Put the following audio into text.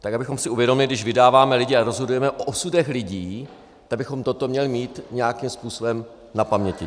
Tak abychom si uvědomili, když vydáváme lidi a rozhodujeme o osudech lidí, tak bychom toto měli mít nějakým způsobem na paměti.